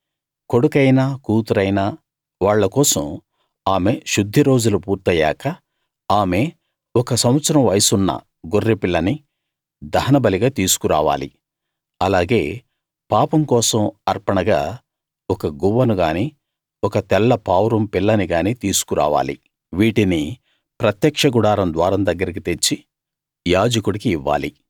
కొడుకైనా కూతురైనా వాళ్ళ కోసం ఆమె శుద్ధి రోజులు పూర్తయ్యాక ఆమె ఒక సంవత్సరం వయస్సున్న గొర్రె పిల్లని దహనబలిగా తీసుకురావాలి అలాగే పాపం కోసం అర్పణగా ఒక గువ్వనుగానీ ఒక తెల్ల పావురం పిల్లని గానీ తీసుకు రావాలి వీటిని ప్రత్యక్ష గుడారం ద్వారం దగ్గరికి తెచ్చి యాజకుడికి ఇవ్వాలి